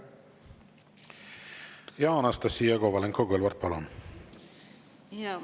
Anastassia Kovalenko-Kõlvart, palun!